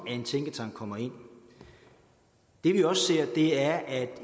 en tænketank kommer ind det vi også ser er at